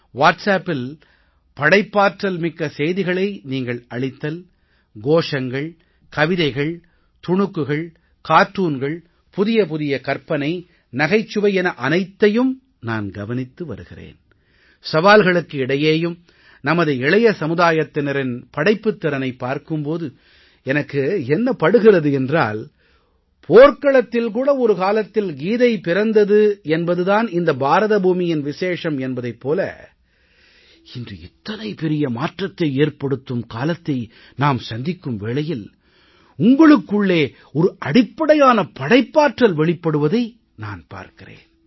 WhatsAppல் படைப்பாற்றல் மிக்க செய்திகளை நீங்கள் அளித்தல் கோஷங்கள் கவிதைகள் துணுக்குகள் கார்ட்டூன்கள் புதிய புதிய கற்பனை நகைச்சுவை என அனைத்தையும் நான் கவனித்து வருகிறேன் சவால்களுக்கு இடையேயும் நமது இளைய சமுதாயத்தினரின் படைப்புத் திறனைப் பார்க்கும் போது எனக்கு என்ன படுகிறது என்றால் போர்க்களத்தில் கூட ஒரு காலத்தில் கீதை பிறந்தது என்பது தான் இந்த பாரத பூமியின் விசேஷம் என்பதைப் போல இன்று இத்தனை பெரிய மாற்றத்தை ஏற்படுத்தும் காலத்தை நாம் சந்திக்கும் வேளையில் உங்களுக்குள்ளே ஒரு அடிப்படையான படைப்பாற்றல் வெளிப்படுவதை நான் பார்க்கிறேன்